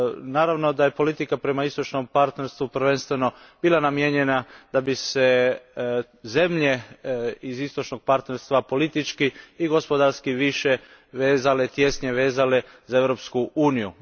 Naravno da je politika prema Istočnome partnerstvu prvenstveno bila namijenjena da bi se zemlje iz Istočnoga partnerstva politički i gospodarski tješnje vezale za Europsku uniju.